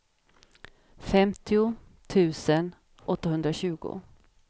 femtio tusen åttahundratjugo